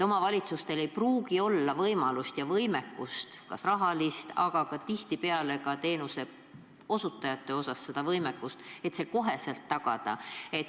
Omavalitsustel ei pruugi olla võimekust – pole kas raha või tihtipeale ka teenuse osutajaid – see otsekohe tagada.